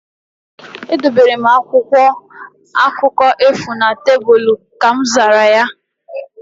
Edobere m akwụkwọ akụkọ ifo na tebụl. Ka mzara ya